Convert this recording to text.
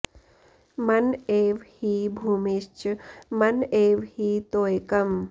मन एव हि भूमिश्च मन एव हि तोयकम्